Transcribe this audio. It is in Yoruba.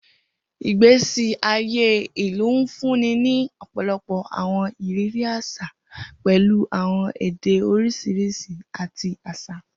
Igbesi aye ilu nfunni ni ọpọlọpọ awọn iriri aṣa, pẹlu awọn ede oriṣiriṣi, ati aṣa.